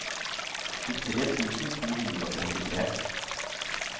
tjuetre tusen to hundre og trettitre